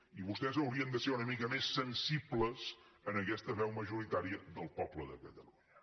i vostès haurien de ser una mica més sensibles a aquesta veu majoritària del poble de catalunya